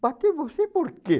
Bater você por quê?